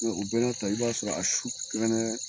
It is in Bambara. O bɛ n'a ta i b'a sɔrɔ a su